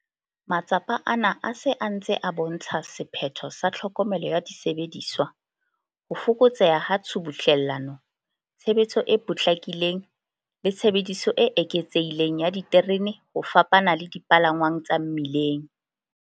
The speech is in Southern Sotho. Matsapa ana a se a ntse a bo ntsha sephetho sa tlhokomelo ya disebediswa, ho fokotseha ha tshubuhlellano, tshebetso e potlakileng le tshebediso e eketsehileng ya diterene ho fapana le dipalangwang tsa mmileng.